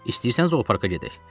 İstəyirsən zooparka gedək.